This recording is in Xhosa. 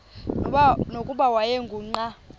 nokuba wayengu nqal